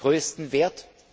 größten Wert.